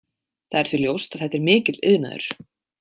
Það er því ljóst að þetta er mikill iðnaður.